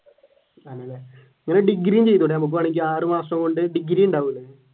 ആണല്ലേ അങ്ങനെ ഡിഗ്രി ചെയ്തൂടെ നമ്മുക്ക് വേണമെങ്കിൽ ആറു മാസം കൊണ്ട് ഡിഗ്രിയുണ്ടാവില്ലേ?